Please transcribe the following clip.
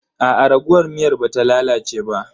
Aa raguwar miyar ba ta lalace ba.